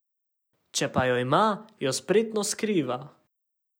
Če pa jo ima, jo spretno skriva.